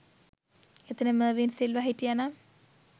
එතන මර්වින් සිල්වා හිටියා නම්